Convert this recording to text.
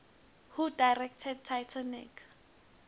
who directed titanic